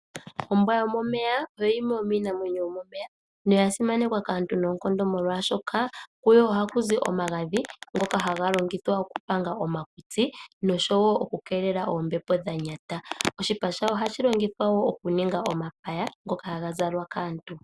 Ombwa yomomeya oyo yimwe yo miinamwenyo yo momeya. Oya simanekwa kaantu , molwaashoka kuyo ohaku zi omagadhi ngoka haga longithwa oku panga omakutsi nosho woo oku keelela oombepo dha nyata. Oshipa shawo ohashi longithwa okuninga omapaya ngoka haga zalwa kaantu.